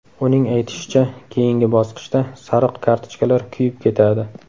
Uning aytishicha, keyingi bosqichda sariq kartochkalar kuyib ketadi.